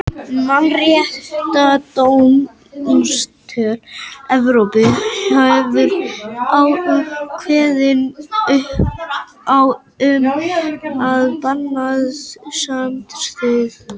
Mannréttindadómstóll Evrópu hefur kveðið á um að bannið standist ákvæði mannréttindasáttmála Evrópu.